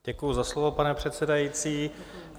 Děkuji za slovo, pane předsedající.